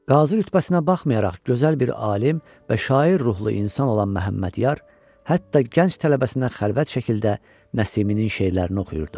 Qazı rütbəsinə baxmayaraq gözəl bir alim və şair ruhlu insan olan Məhəmmədyar, hətta gənc tələbəsinə xəlvət şəkildə Nəsiminin şeirlərini oxuyurdu.